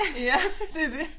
Ja det det